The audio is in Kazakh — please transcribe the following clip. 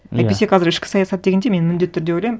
иә әйтпесе қазір ішкі саясат дегенде мен міндетті түрде ойлаймын